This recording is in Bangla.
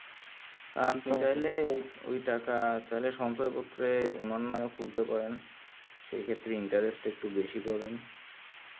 আপনি চাইলে ওই ওই টাকা চাইলে সঞ্চয় পত্রে উনার নাম খুলতে পারেন সেই ক্ষেত্রে interest একটু বেশি পাবেন